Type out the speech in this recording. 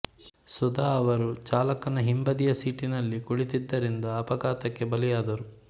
ಸುಧಾ ಅವರು ಚಾಲಕನ ಹಿಂಬದಿಯ ಸೀಟಿನಲ್ಲಿ ಕುಳಿತ್ತಿದ್ದರಿಂದ ಅಪಘಾತಕ್ಕೆ ಬಲಿಯಾದರು